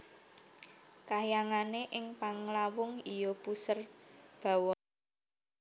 Kahyangane ing Panglawung iya Puserbawana